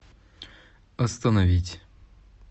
остановить